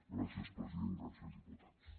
gràcies president gràcies diputats